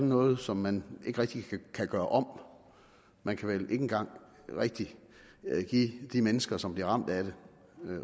noget som man ikke rigtig kan gøre om man kan vel ikke engang rigtig give de mennesker som bliver ramt af det